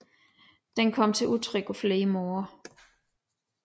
Den kom til udtryk på flere måder